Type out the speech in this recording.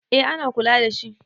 eh ana kula da shi